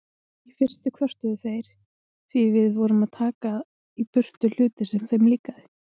Í fyrstu kvörtuðu þeir því við vorum að taka í burtu hluti sem þeim líkaði.